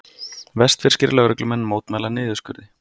Vestfirskir lögreglumenn mótmæla niðurskurði